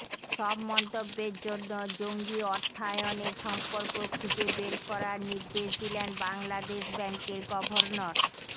সব মন্তব্যের জন্য জঙ্গি অর্থায়নের সম্পর্ক খুঁজে বের করার নির্দেশ দিলেন বাংলাদেশ ব্যাংকের গভর্নর